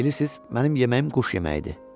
Bilirsiz, mənim yeməyim quş yeməyidir.